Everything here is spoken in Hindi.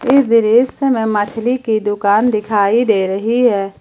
इस दृश्य में मछली की दुकान दिखाई दे रही है।